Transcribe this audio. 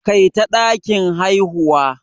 Kai ta dakin haihuwa.